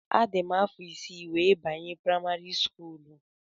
Adị m afọ isii wee banye primari skuulu